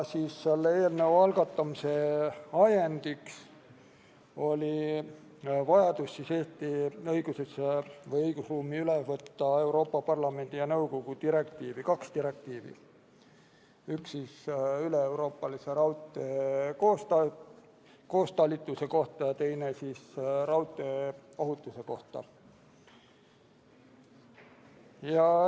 Eelnõu algatamise ajendiks oli vajadus võtta Eesti õigusruumi üle Euroopa Parlamendi ja Euroopa Nõukogu kaks direktiivi, üks üleeuroopalise raudtee koostalituse kohta ja teine raudteeohutuse kohta.